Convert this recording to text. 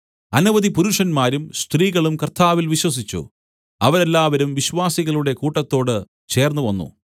അനവധി പുരുഷന്മാരും സ്ത്രീകളും കർത്താവിൽ വിശ്വസിച്ചു അവരെല്ലാവരും വിശ്വാസികളുടെ കൂട്ടത്തോട് ചേർന്നുവന്നു